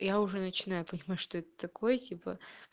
я уже начинаю понимать что это такое типа